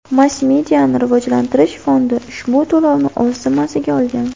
Mass-mediani rivojlantirish fondi ushbu to‘lovni o‘z zimmasiga olgan.